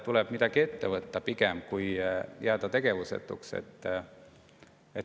Tuleb midagi ette võtta, mitte jääda tegevusetuks.